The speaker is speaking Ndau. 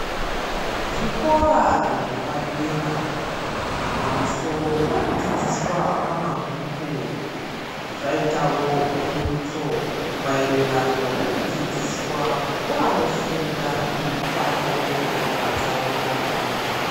Zvikora zvepadera pamusoro pekudzidziswa kwamabhuku zvaitawo pundotso mairirano nekudzidziswa kwevanofunda mitambo yakatsaukana.